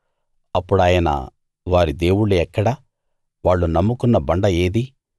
అప్పుడాయన వారి దేవుళ్ళు ఎక్కడ వాళ్ళు నమ్ముకున్న బండ ఏది